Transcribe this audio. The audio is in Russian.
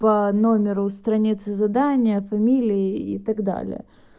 по номеру страницы задания фамилии и так далее